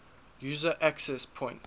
user access point